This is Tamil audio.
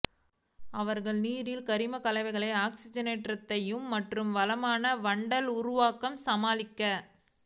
அவர்கள் நீரில் கரிம கலவைகள் ஆக்ஸிஜனேற்றத்தைத் மற்றும் வளமான வண்டல் உருவாக்கம் சமாளிக்க